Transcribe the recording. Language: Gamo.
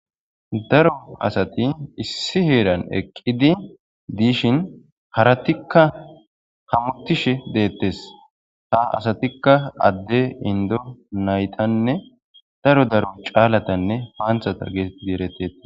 daro asati issi heeran eqqidi diishin haratikka hamutishe deettes ta asatikka adde indo naytanne daro daro caalatanne paanthata gee dieretteta